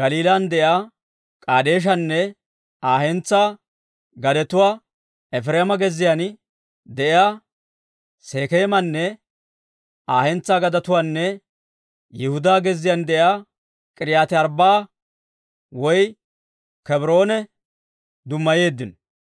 Galiilan de'iyaa K'edeeshanne Aa hentsaa gadetuwaa, Efireema gezziyaan de'iyaa Sekeemanne Aa hentsaa gadetuwaanne Yihudaa gezziyaan de'iyaa K'iriyaati-Arbbaa'a woy Kebroone dummayeeddino.